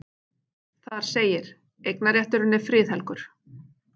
Þar segir: Eignarrétturinn er friðhelgur.